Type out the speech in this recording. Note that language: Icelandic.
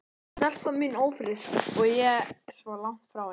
Stelpan mín ófrísk og ég svo langt frá henni.